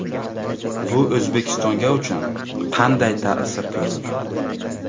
Bu O‘zbekistonga uchun qanday ta’sir ko‘rsatadi?